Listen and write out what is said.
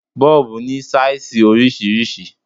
Bọ́ọ̀bù ní sáìsì oríṣiríṣi.